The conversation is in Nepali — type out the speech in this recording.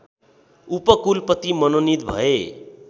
उपकुलपति मनोनित भए